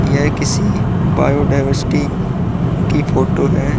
यह किसी biodiversity की फोटो है।